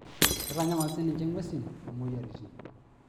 Keitanyamal siininche ngwesi moyiaritin.